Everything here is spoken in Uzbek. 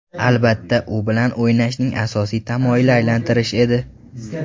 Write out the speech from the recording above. Albatta, u bilan o‘ynashning asosiy tamoyili aylantirish edi.